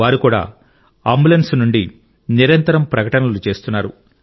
వారు కూడా అంబులెన్స్ నుండి నిరంతరం ప్రకటనలు చేస్తున్నారు